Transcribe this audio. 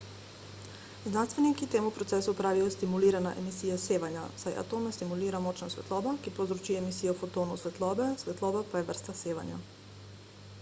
znanstveniki temu procesu pravijo stimulirana emisija sevanja saj atome stimulira močna svetloba ki povzroči emisijo fotonov svetlobe svetloba pa je vrsta sevanja